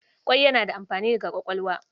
Ƙwai yana da amfani ga kwakwalwa.